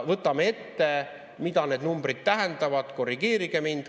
Võtame ette, mida need numbrid tähendavad, korrigeerige mind.